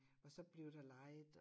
Og så blev der leget og